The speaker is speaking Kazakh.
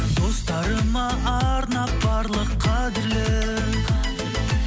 достарыма арнап барлық қадірлі